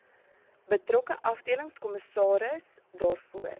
betrokke afdelingskommissaris daarvoor